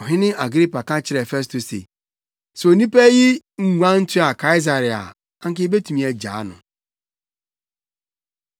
Wɔrekɔ no wɔkeka kyerɛɛ wɔn ho wɔn ho se, “Saa onipa yi nyɛɛ biribiara a ɛsɛ sɛ wogyina so bu no kumfɔ anaasɛ wɔde no to afiase.”